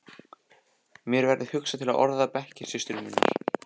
Mér verður hugsað til orða bekkjarsystur minnar.